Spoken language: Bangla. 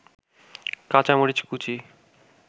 কাঁচামরিচ কুচি